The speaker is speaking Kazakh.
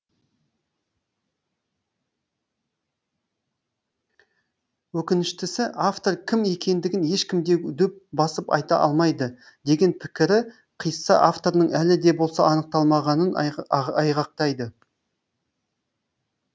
өкініштісі авторы кім екендігін ешкім де дөп басып айта алмайды деген пікірі қисса авторының әлі де болса анықталмағанын айғақтайды